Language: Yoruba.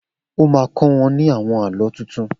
O má kọ́ wọ́n ní àwon Àlọ́ tuntun.